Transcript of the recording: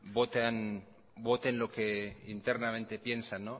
voten lo que internamente piensan